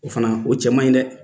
O fana o cɛ man ɲi dɛ!